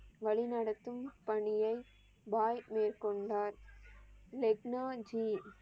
வழிநடத்தும் பணியை பாய் மேற்கொண்டார் லெக்னா ஜி.